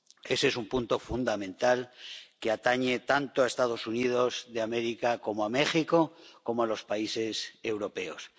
Ese es un punto fundamental que atañe tanto a Estados Unidos de América como a México, como a los países europeos.